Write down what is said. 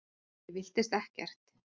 Ég villtist ekkert.